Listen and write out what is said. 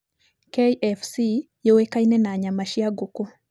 KFC yũĩkaine na nyama cia ngũkũ.